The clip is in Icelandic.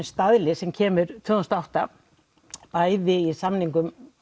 staðli sem kemur tvö þúsund og átta bæði í samningum